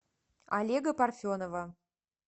олега парфенова